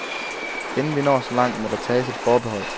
Inden vi når så langt, må der tages et forbehold.